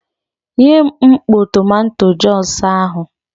Nyem mkpọ tomanto jọs ahụ!